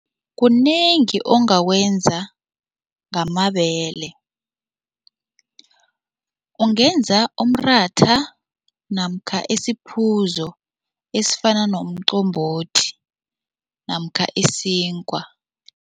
Kunengi ongakwenza ngamabele. Ungenza umratha namkha isiphuzo esifana nomqombothi namkha isinkwa.